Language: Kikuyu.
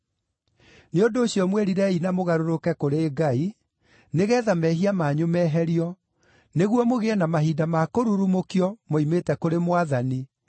Nĩ ũndũ ũcio mwĩrirei na mũgarũrũke kũrĩ Ngai, nĩgeetha mehia manyu meherio, nĩguo mũgĩe na mahinda ma kũrurumũkio moimĩte kũrĩ Mwathani, na